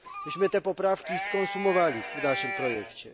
Myśmy te poprawki skonsumowali w naszym projekcie.